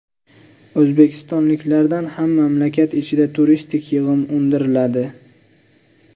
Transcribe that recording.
O‘zbekistonliklardan ham mamlakat ichida turistik yig‘im undiriladi.